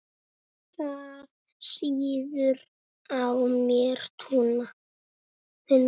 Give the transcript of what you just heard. Það sýður á mér núna.